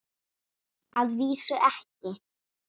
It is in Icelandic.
Að vísu ekki.